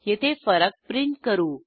येथे फरक प्रिंट करू